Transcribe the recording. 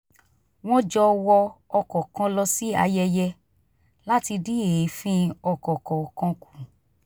wọ́n jọ wọ ọkọ̀ kan lọ sí ayẹyẹ láti dín èéfín ọkọ̀ kọọkan kù